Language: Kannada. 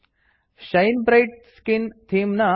ಶೈನ್ ಬ್ರೈಟ್ ಸ್ಕಿನ್ ಥೀಮ್ ನ ಪೇಜ್ ಗೋಚರವಾಗುತ್ತದೆ